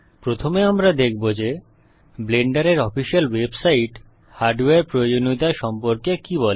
প্রথমে আমরা দেখব যে ব্লেন্ডারের অফিসিয়াল ওয়েবসাইট হার্ডওয়্যার প্রয়োজনীয়তা সম্পর্কে কি বলে